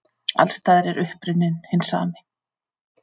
Alls staðar er uppruninn hinn sami.